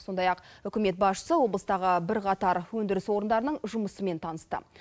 сондай ақ үкімет басшысы облыстағы бірқатар өндіріс орындарының жұмысымен танысты